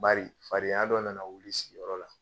Bari fadenya dɔ nana wuli sigiyɔrɔ la